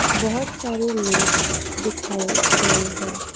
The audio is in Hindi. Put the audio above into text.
बहोत सारे लोग दिखाए गए हैं।